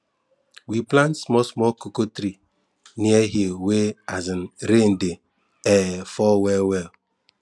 we plant small small cocoa tree near hill wey um rain de um fall well well